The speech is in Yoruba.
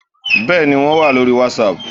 Bẹ́ẹ̀ni wo wà lórí wàsáàpù